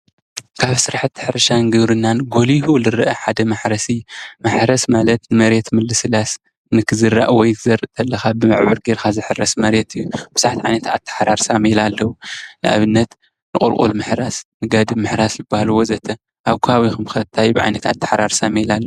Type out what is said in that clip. ካብ ስራሓቲ ሕርሻን ግብርናን ጎሊሁ ዝረአ ሓደ ማሕረስ እዩ። ማሕረስ ማለት መሬት ምልስላስ፣ ንክዝራእ ወይ ክትዘርእ ከለኻ በብዑር ገርካ ዝሕረስ መሬት እዩ። ብዙሓት ዓይነት ኣተሓራርሳ ሜላ ኣለው። ንኣብነት ንቑልቁል ምሕራስ ፣ንጋድም ምሕራስ ዝባሃሉ ወዘተ... ኣብ ከባቢኹም ከ እንታይ ዓይነት ኣታሓራርሳ ሜላ ኣሎ?